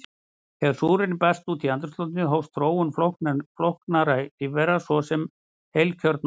Þegar súrefni barst út í andrúmsloftið hófst þróun flóknara lífvera, svo sem heilkjörnunga.